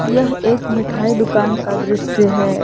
यह एक मिठाई दुकान का दृश्य है।